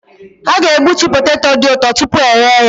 A ga-egbutu poteto dị ụtọ tupu eghe ya.